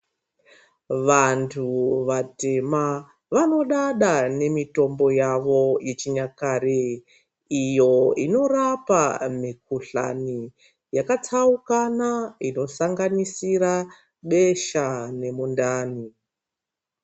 Vantu vatema vanodada nemitombo yavo yechinyakare iyo inorape mukuhlani yakatsukana inosanganisira besha nemundani.